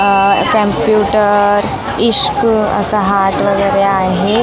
अह कॅम्प्युटर इश्क असं हार्ट वगैरे आहे.